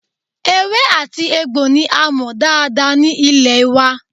Ewé àti egbò ní a mọ̀ dáadáa ní ilẹ̀ wa